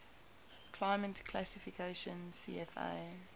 climate classification cfa